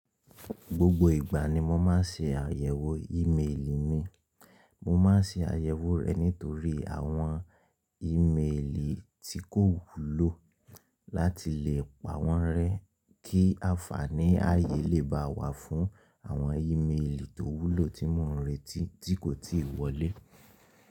Gbogbo ìgbà ni mo máa ń ṣe àyẹ̀wò ímeèlì mi. Mo máa ṣe àyèwò rẹ̀ nítorí àwọn ímeèlì tí kò wúlò láti lè pa wọ́n rẹ́ kí àǹfàní ààyè lè ba wá fún àwọn ímeèlì tó wúlò tí mò ń retí tí kò tíì wọlé.